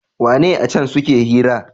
wune acen suke hira?